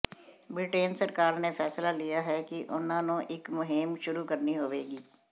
Britain ਸਰਕਾਰ ਨੇ ਫੈਸਲਾ ਲਿਆ ਹੈ ਕਿ ਉਨ੍ਹਾਂ ਨੂੰ ਇਕ ਮੁਹਿੰਮ ਸ਼ੁਰੂ ਕਰਨੀ ਹੋਵੇਗੀ